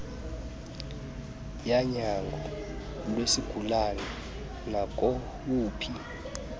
yanyango lwesigulana nakowuphi